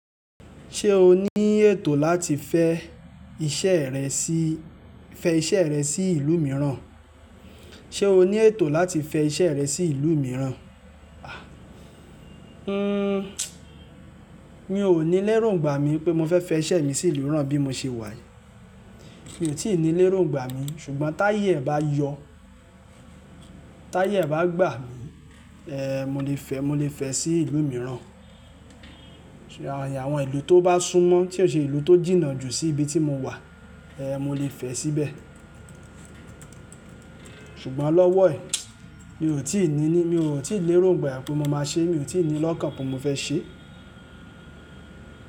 Ṣé o ní ètò láti fẹ iṣẹ́ rẹ sí, fẹ iṣẹ́ rẹ sí ìlú mìíràn? Ṣé o ní ètò láti fẹ iṣẹ́ rẹ sí ìlú mìíràn? Ah, hmm, mi ò ní léròǹgbà mi pé mo fẹ fẹ iṣẹ́ mi sí ìlú mìíràn bí mo ṣe wà yi. Mi ò tí ì ní léròǹgbà mi, ṣùgbọ́n táyé ẹ bá yọ, táyé ẹ bá gbà mí, ẹ, mo lè fẹ, mo lè fẹ sí ìlú mìíràn. Àwọn ìlú tó bá súnmọ́ tí ó ṣe ìlú tó jìnnà jù sí ibi tí mo wà, ẹ, mo lè fẹ síbẹ̀. Ṣùgbọ́n lọ́wọ́ ẹ, mi ò tí ì ní ní, mi ò tí ì léròǹgbà pé mo máa ṣe, mi ò tí ì ní lọ́kàn pé mo fẹ ṣe.